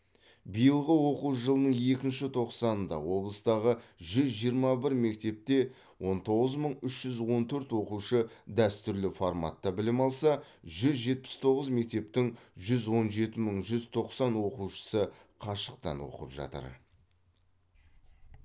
биылғы оқу жылының екінші тоқсанында облыстағы жүз жиырма бір мектепте он тоғыз мың үш жүз он төрт оқушы дәстүрлі форматта білім алса жүз жетпіс тоғыз мектептің жүз он жеті мың жүз тоқсан оқушысы қашықтан оқып жатыр